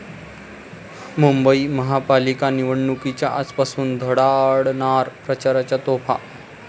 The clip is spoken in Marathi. मुंबई महापालिका निवडणुकीच्या आजपासून धडाडणार प्रचाराच्या तोफा